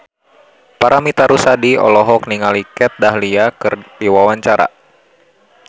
Paramitha Rusady olohok ningali Kat Dahlia keur diwawancara